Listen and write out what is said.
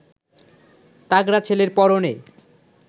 তাগড়া ছেলের পরনে